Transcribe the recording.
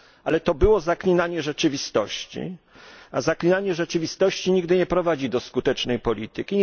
Ale to było zaklinanie rzeczywistości, a zaklinanie rzeczywistości nigdy nie prowadzi do skutecznej polityki.